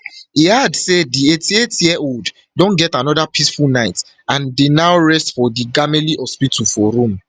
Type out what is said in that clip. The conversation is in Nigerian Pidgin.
e add say di eighty-eightyearold don get anoda peaceful night and dey now rest for di gamelli hospital for rome